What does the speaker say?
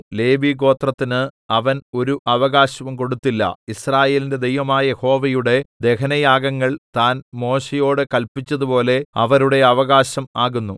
ലേവിഗോത്രത്തിന് അവൻ ഒരു അവകാശവും കൊടുത്തില്ല യിസ്രായേലിന്റെ ദൈവമായ യഹോവയുടെ ദഹനയാഗങ്ങൾ താൻ മോശയോട് കല്പിച്ചതുപോലെ അവരുടെ അവകാശം ആകുന്നു